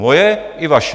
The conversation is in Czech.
Moje i vaše.